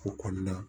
O kɔnɔna